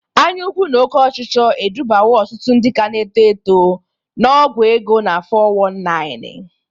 Anya ukwu na oke ọchịchọ edubawo ọtụtụ ndị ka na-eto eto na ọgwọ ego na 'fọ wọn naịnị'.